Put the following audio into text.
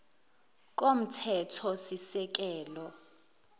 komthethosisekelo